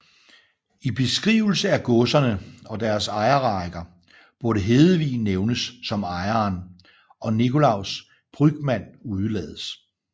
I beskrivelserne af godserne og deres ejerrækker burde Hedevig nævnes som ejeren og Nicolaus Brügmann udelades